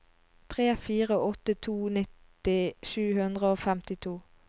tre fire åtte to nitti sju hundre og femtito